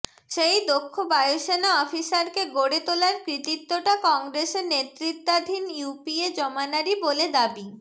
সেই দক্ষ বায়ুসেনা অফিসারকে গড়ে তোলার কৃতিত্বটা কংগ্রেসের নেতৃত্বাধীন ইউপিএ জমানারই বলে দাবি